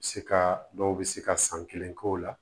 Se ka dɔw bɛ se ka san kelen k'o la